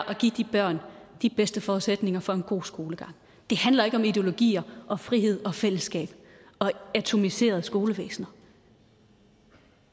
at give de børn de bedste forudsætninger for en god skolegang det handler ikke om ideologier og frihed og fællesskab og atomiserede skolevæsener